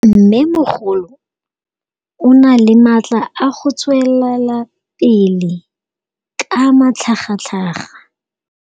Mmêmogolo o na le matla a go tswelela pele ka matlhagatlhaga.